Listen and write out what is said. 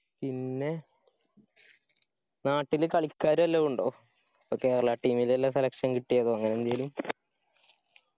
പിന്നെ നാട്ടില് കളിക്കാര് വലതു ഉണ്ടോ ഇപ്പോ Kerala team ലേലു selection കിട്ടിയതോ അങ്ങനെ എന്തേലു